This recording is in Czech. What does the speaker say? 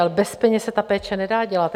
Ale bez peněz se ta péče nedá dělat.